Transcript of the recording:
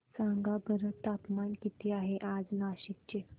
सांगा बरं तापमान किती आहे आज नाशिक चे